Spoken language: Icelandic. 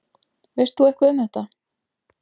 Veist þú eitthvað um þetta?